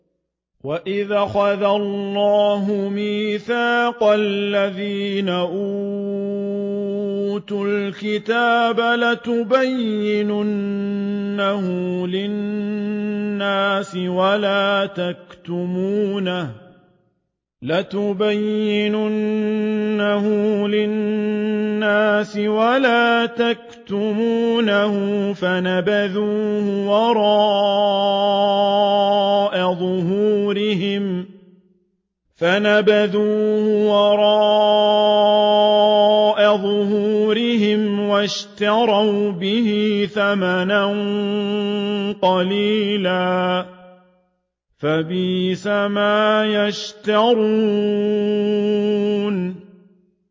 وَإِذْ أَخَذَ اللَّهُ مِيثَاقَ الَّذِينَ أُوتُوا الْكِتَابَ لَتُبَيِّنُنَّهُ لِلنَّاسِ وَلَا تَكْتُمُونَهُ فَنَبَذُوهُ وَرَاءَ ظُهُورِهِمْ وَاشْتَرَوْا بِهِ ثَمَنًا قَلِيلًا ۖ فَبِئْسَ مَا يَشْتَرُونَ